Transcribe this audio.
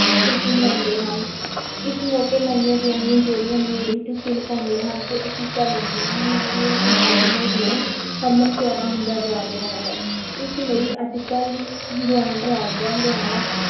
ਖ਼ੁੁਸ਼ੀ ਮਨਾਉਂਦੇ ਹਨ ਇਸ ਮੌਕੇ ਨਵੀਆਂ ਵਿਆਹੀਆਂ ਜੋੜੀਆਂ ਲੋਹੜੀ ਤੇ ਤਿਲ ਪਾਉਂਦੀਆਂ ਹਨ ਤੇ ਅਸੀਸਾਂ ਲੈਂਦੀਆਂ ਹਨ, ਲੋਹੜੀ ਦਾ ਤਿਉਹਾਰ ਦਿਨੋ-ਦਿਨ ਹਰਮਨ-ਪਿਆਰਾ ਹੁੰਦਾ ਜਾ ਰਿਹਾ ਹੈ, ਇਸ ਲਈ ਅੱਜ-ਕੱਲ੍ਹ ਗੁਆਂਢ ਰਾਜਾਂ, ਹਰਿਆਣਾ,